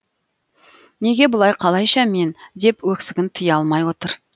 неге бұлай қалайша мен деп өксігін тия алмай отыр